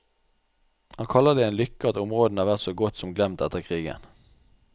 Han kaller det en lykke at områdene har vært så godt som glemt etter krigen.